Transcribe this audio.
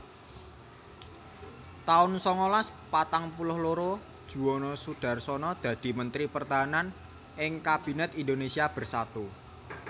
taun songolas patang puluh loro Juwono Sudarsono dadi Mentri Pertahanan ing Kabinet Indonésia Bersatu